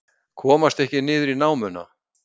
Komast ekki niður í námuna